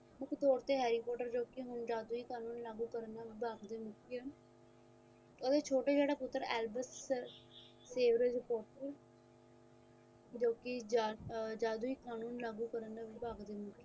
ਮੁੱਖ ਤੌਰ ਤੇ harry potter ਜੋ ਕਿ ਹੁਣ ਜਾਦੂ ਹੀ ਕਾਨੂੰਨ ਲਾਗੂ ਕਰਨ ਦਾ ਵਿਭਾਗ ਦੇ ਮੁਖੀ ਹਨ ਉਸ ਦਾ ਛੋਟਾ ਜੋੜਾ ਪੁੱਤਰ albert saveraj potter ਜੋ ਕਿ ਅਰ ਜਾਦੂਈ ਕਾਨੂੰਨ ਲਾਗੂ ਕਰਨ ਦੇ ਵਿਭਾਗ ਦਾ ਮੁਖੀ